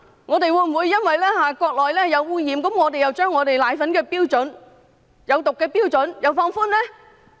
我們會否因為國內的奶粉受污染而將香港奶粉中有毒物質的標準放寬呢？